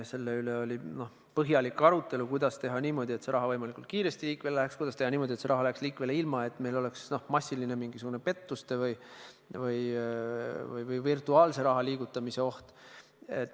Selle üle oli põhjalik arutelu, kuidas teha niimoodi, et see raha võimalikult kiiresti liikvele läheks, kuidas teha nii, et see raha läheks liikvele ilma, et meil oleks massiliste pettuste või virtuaalse raha liigutamise oht.